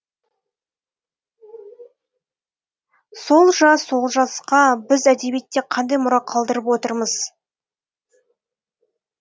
сол жас олжасқа біз әдебиетте қандай мұра қалдырып отырмыз